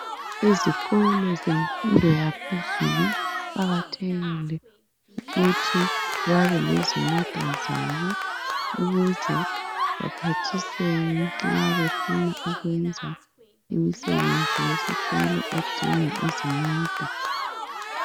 Ezikolo zemfundo yaphezulu kuqakathekile ukuthi babelezimota zabo ukuze baphathiseke nxa befuna ukwenza imisebenzi yesikolo edinga izimota.